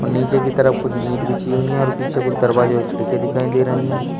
और नीचे की तरफ कुछ ईट बिछी हुई हैं और पीछे कुछ दरवाजे और खिड़कियां दिखाई दे रही हैं।